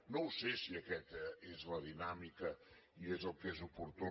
no ho sé si aquesta és la dinàmica i és el que és opor·tú